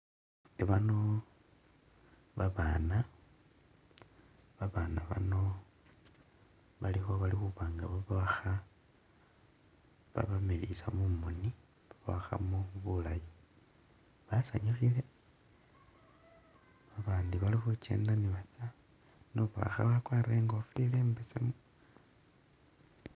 I'bano babana, babana bano baliko bali khubanga babawakha babamiliyisa mumoni bawakhamo buulayi basanyukhile babandi bali khukyenda ni batsa ne ubawakha wakwarile inkofila imbesemu.